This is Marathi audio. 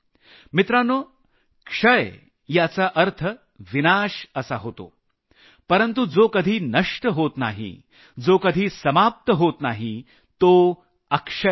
मित्रांनो क्षय याचा अर्थ विनाश असा होतो परंतु जो कधी नष्ट होत नाही जो कधी समाप्त होत नाही तो अक्षय आहे